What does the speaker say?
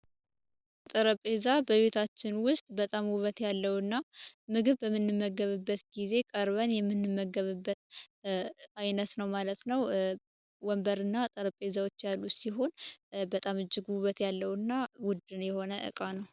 ጠረጴዛ በቤታችን ውስጥ በጣም ውበት ያለውና ምግብ በምንመገብበት ጊዜ የምንመገብበት አይነት ነው ማለት ነው። ወንበርና ጠረጴዛዎች ያሉ ሲሆን በጣም እጅግ ውበት ያለው እና የሆነ እቃዎች ውድ የሆነ እቃ ነው።